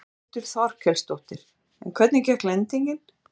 Þórhildur Þorkelsdóttir: En hvernig gekk lendingin?